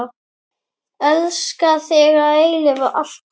Elska þig að eilífu, alltaf.